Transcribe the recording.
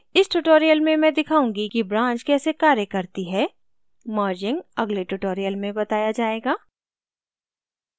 इस tutorial में मैं दिखाऊंगी कि branch कैसे कार्य करती है merging अगले tutorial में बताया जायेगा